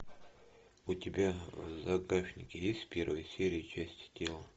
у тебя в загашнике есть первая серия части тела